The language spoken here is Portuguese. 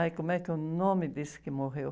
Ai, como é que o nome desse que morreu?